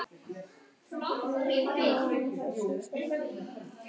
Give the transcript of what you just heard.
Hörður viðurkennir að hann hafi hugsað sér til hreyfings síðastliðið haust.